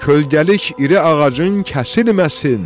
Kölgəlik iri ağacın kəsilməsin.